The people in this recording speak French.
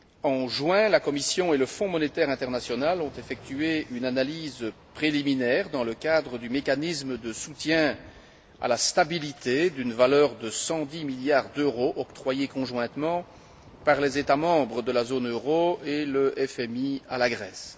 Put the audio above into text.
En juin, la Commission et le Fonds monétaire international ont effectué une analyse préliminaire dans le cadre du mécanisme de soutien à la stabilité d'une valeur de 110 milliards d'euros, octroyés conjointement par les États membres de la zone euro et le FMI à la Grèce.